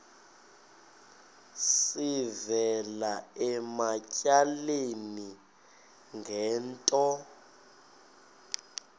sivela ematyaleni ngento